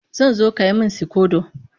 Zan zo ka yi min sikodo